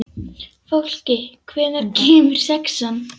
Fólki, hvenær kemur sexan?